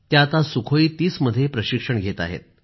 त्या आता सुखोई 30 मध्ये प्रशिक्षण घेत आहेत